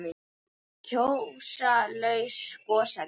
Gjóska- laus gosefni